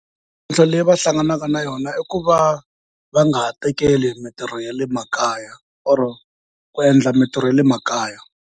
Mintlhotlho leyi va hlanganaka na yona i ku va nga ha tekeli mintirho ya le makaya or ku endla mitirho ya le makaya.